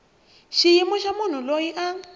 xiyimo xa munhu loyi a